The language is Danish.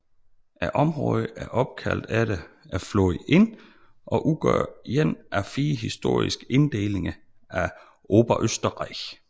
Området er opkaldt efter floden Inn og udgør én af fire historiske inddelinger af Oberösterreich